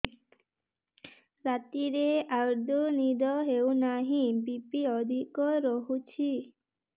ରାତିରେ ଆଦୌ ନିଦ ହେଉ ନାହିଁ ବି.ପି ଅଧିକ ରହୁଛି